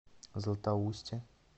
златоусте